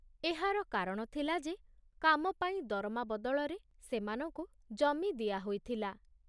ଏହାର କାରଣ ଥିଲା ଯେ କାମ ପାଇଁ ଦରମା ବଦଳରେ ସେମାନଙ୍କୁ ଜମି ଦିଆ ହୋଇଥିଲା।